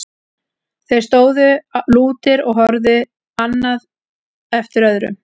Þeir stóðu lútir og horfði annar eftir öðrum.